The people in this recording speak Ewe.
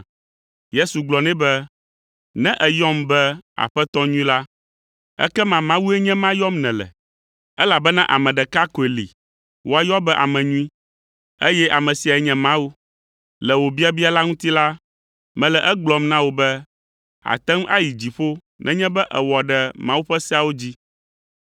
Yesu gblɔ nɛ be, “Ne èyɔm be Aƒetɔ nyui la, ekema Mawue nye ema yɔm nèle, elabena ame ɖeka koe li woayɔ be ame nyui, eye ame siae nye Mawu. Le wò biabia la ŋuti la, mele egblɔm na wò be àte ŋu ayi dziƒo nenye be èwɔ ɖe Mawu ƒe seawo dzi.”